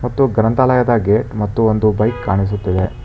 ಮತ್ತು ಗ್ರಂಥಾಲಯದಗೆ ಮತ್ತು ಒಂದು ಬೈಕ್ ಕಾಣಿಸುತ್ತಿದೆ.